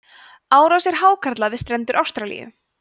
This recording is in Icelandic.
árásir hákarla við strendur ástralíu